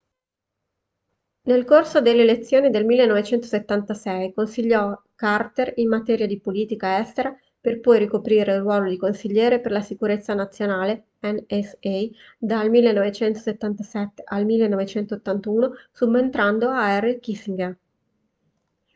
nel corso delle elezioni del 1976 consigliò carter in materia di politica estera per poi ricoprire il ruolo di consigliere per la sicurezza nazionale nsa dal 1977 al 1981 subentrando a henry kissinger